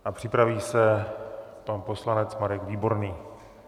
A připraví se pan poslanec Marek Výborný.